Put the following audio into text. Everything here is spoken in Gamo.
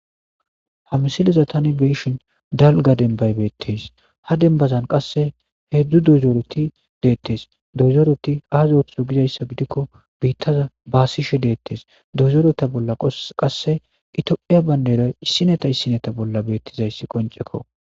Ha msiliza tani beishin dalga denbaybeettes ha denbazan qasse heedzdzu dozooreti deettes dozoreti aazotho gizayssa gidikko biittaza baasishe deettes dozoreta bolla qasse itopheya baynderay issineta issineta bolla beettizayssi qoncekko.